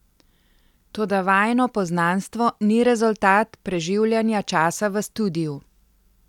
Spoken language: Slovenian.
Toda vajino poznanstvo ni rezultat preživljanja časa v studiu.